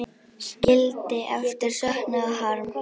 Skildi eftir söknuð og harm.